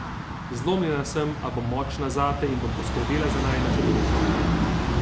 Zlomljena sem, a bom močna zate in bom skrbela za najina čudovita otroka.